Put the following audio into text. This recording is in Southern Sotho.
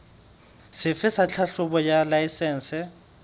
sefe sa tlhahlobo ya laesense